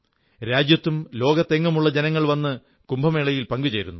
രാജ്യത്തും ലോകമെങ്ങുമുള്ള ജനങ്ങൾ വന്ന് കുംഭമേളയിൽ പങ്കു ചേരുന്നു